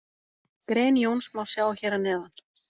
Grein Jóns má sjá hér að neðan.